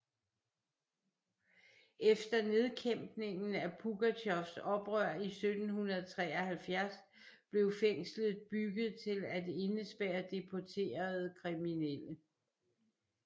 Efter nedkæmpningen af Pugatjovs oprør i 1773 blev fængslet bygget til at indespærre deporterede kriminelle